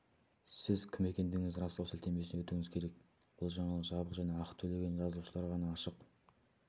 сіз кім екендігіңізді растау сілтемесіне өтуіңіз керек бұл жаңалық жабық және ақы төлеген жазылушыларға ғана ашық